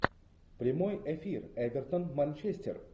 прямой эфир эвертон манчестер